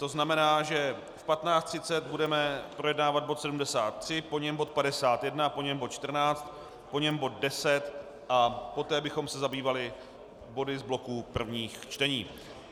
To znamená, že v 15.30 budeme projednávat bod 73, po něm bod 51, po něm bod 14, po něm bod 10 a poté bychom se zabývali body z bloku prvních čtení.